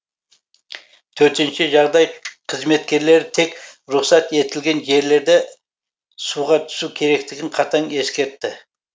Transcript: төтенше жағдай қызметкерлері тек рұқсат етілген жерлерде суға түсу керектігін қатаң ескертті